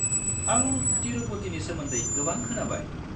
आं तिरुपतिनि सोमोन्दै गोबां खोनाबाय।